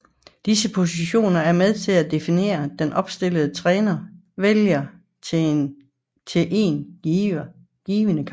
Disse positioner er med til at definere den opstilling træneren vælger til en given kamp